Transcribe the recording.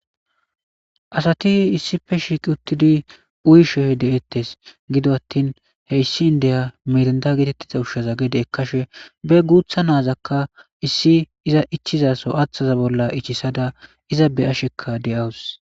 Asati issippe shiqidi uyishe de,eetes gido atin hesin deyiya mirinda usha gada ekashe ba gutha na,aka iza ichiza bollan ichisada iza be,asheka de,awus